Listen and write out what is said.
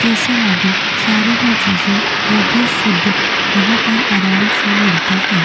क़ेसर आदि सारी ही चीज़े वो भी शुद्ध यहाँ पर आराम से मिलती है।